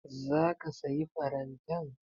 Za ki sayi farantan?